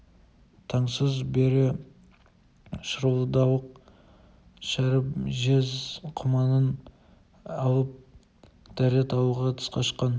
таңсыз бере шырылдауық шәріп жез құманын алып дәрет алуға тысқа шыққан